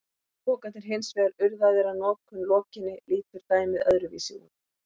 Séu pokarnir hins vegar urðaðir að notkun lokinni lítur dæmið öðruvísi út.